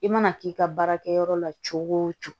I mana k'i ka baarakɛyɔrɔ la cogo o cogo